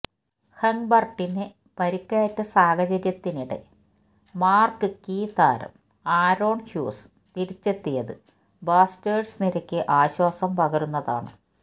ഹെങ്ബര്ട്ടിന് പരുക്കേറ്റ സാഹചര്യത്തിനിടെ മാര്ക്വീ താരം ആരോണ് ഹ്യൂസ് തിരിച്ചെത്തിയത് ബ്ലാസ്റ്റേഴ്സ് നിരയ്ക്ക് ആശ്വാസം പകരുന്നതാണ്